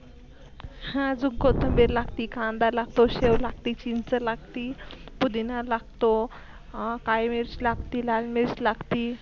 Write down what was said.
आजून कोत्मबीर लागती, कांदा लागतो, सेव लागती, चिंच लागती, पुधीना लागतो, काळी मिर्च लागती, लाल मिर्च लागती,